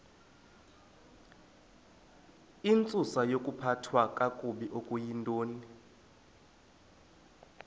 intsusayokuphathwa kakabi okuyintoni